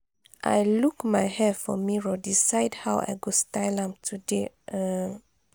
i look my hair for mirror decide how i go style am today. um